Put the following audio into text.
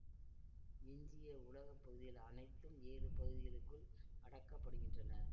எஞ்சிய உலக பகுதிகள் அனைத்தும் ஏழு பகுதிகளுக்குள் அடக்கப்படுகின்றன